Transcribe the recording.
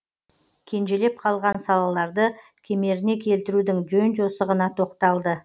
кенжелеп қалған салаларды кемеріне келтірудің жөн жосығына тоқталды